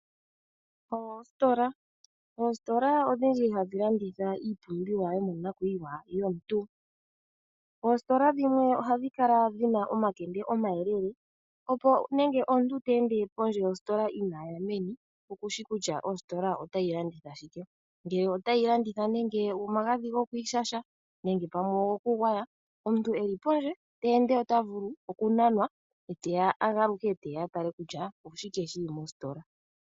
Oositola Oositola odhindji hadhi landitha iipumbiwa yomonakuyiwa yomuntu. Oositola dhimwe ohadhi kala dhi na omakende omayele, opo nenge omuntu te ende pondje yositola inaaya meno okushi kutya ositola otayi landitha shike. Ngele otayi landitha nande omagadhi gokwiishasha nenge pamwe ogokugwaya omuntu e li pondje te ende ota vulu okunanwa e ta galuka e ye a tale kutya oshike shi li mositola.